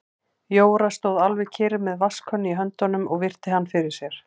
Jóra stóð alveg kyrr með vatnskönnu í höndunum og virti hann fyrir sér.